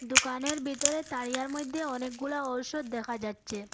দোকানের বিতরে তারিয়ার মইদ্যে অনেকগুলা ঔষুধ দেখা যাচ্ছে।